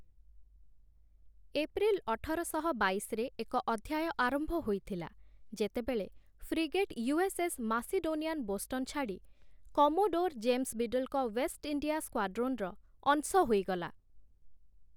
April ଅଠରଶହ ବାଇଶରେ ଏକ ଅଧ୍ୟାୟ ଆରମ୍ଭ ହୋଇଥିଲା ଯେତେବେଳେ ଫ୍ରିଗେଟ୍ ୟୁ.ଏସ୍‌.ଏସ୍‌. ମାସିଡୋନିଆନ୍ ବୋଷ୍ଟନ୍ ଛାଡ଼ି କମୋଡୋର୍ ଜେମ୍ସ୍ ବିଡଲ୍‌ଙ୍କ ୱେଷ୍ଟ୍ ଇଣ୍ଡିଆ ସ୍କ୍ୱାଡ୍ରୋନ୍‌ର ଅଂଶ ହୋଇଗଲା ।